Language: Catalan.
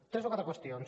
tres o quatre qüestions